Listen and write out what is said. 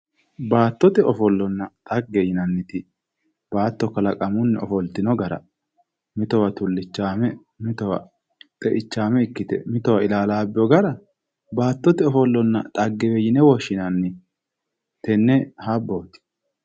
Baattote ofollonna xagge yinanniti baatto kalaqamunni ofoltino gara mitowa tullichaame, mitowa xeichaame ikkite mitowa ilaalaabbewo gara baattote ofollonna xaggewe yine woshshinanni. Tenne habbooti.